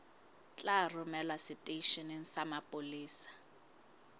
tla romelwa seteisheneng sa mapolesa